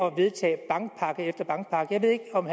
at vedtage bankpakke efter bankpakke jeg ved ikke om